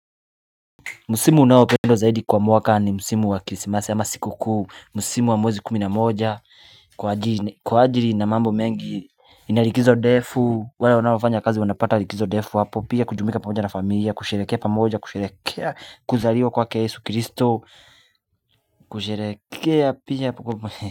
Msimu unaopendwa zaidi kwa mwaka ni msimu wa krismasi ama sikukuu Msimu wa mwezi kumi na moja Kwa ajili na mambo mengi inalikizo ndefu wala wanafanya kazi wanapata likizo defu hapo Pia kujumika pamoja na familia kusherekea pamoja kusherekea kuzaliwa kwake yesu kristo kusherekea pia kwa mwaka.